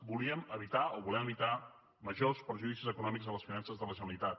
volíem evitar o volem evitar majors perjudicis econòmics a les finances de la generalitat